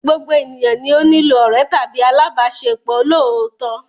Gbogbo ènìyàn ni ó nílò ọ̀rẹ́ tàbí alábàáṣepọ̀ olóòótọ́.